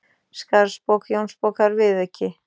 Skarðsbók Jónsbókar, viðauki